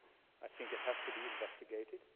I think it has to be investigated.